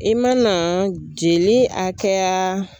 I mana jeli hakɛya